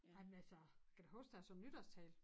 Ej men altså kan da huske da jeg så nytårstale